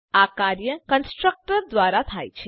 આ કાર્ય કન્સ્ટ્રક્ટર દ્વારા થાય છે